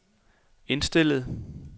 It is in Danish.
indstillet